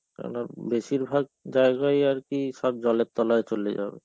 কেননা বেশিরভাগ জায়গায় আর কি সব জলের তলায় চলে যাবে.